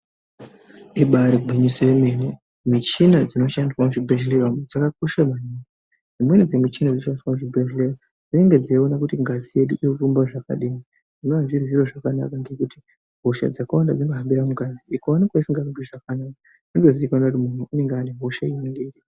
Ibari gwinyiso yemene, michina dzinoshandiswa muzvibhehleya dzakakosha maningi. Dzimweni dzimichina dzinoshandiswa muzvibhehleya dzinenge dzeiona kuti ngazi yedu irikufamba zvakadini zvinova zviri zviro zvakanaka ngekuti hosha hosha dzakawanda dzinohambira mungazi. Ukaonekwa isingahambi zvakanaka zvotozikanwa kuti munhu unenge ane hosha inenge iripo.